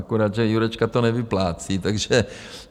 Akorát že Jurečka to nevyplácí, takže...